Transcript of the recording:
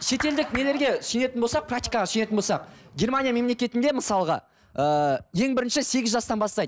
шетелдік нелерге сүйенетін болсақ практикаға сүйенетін болса германия мемлекетінде мысалға ыыы ең бірінші сегіз жастан бастайды